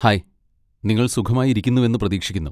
Hi, നിങ്ങൾ സുഖമായി ഇരിക്കുന്നുവെന്ന് പ്രതീക്ഷിക്കുന്നു.